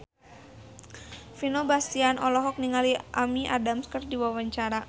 Vino Bastian olohok ningali Amy Adams keur diwawancara